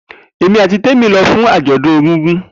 Emi ati Temi lọ fun ajọdun egungun.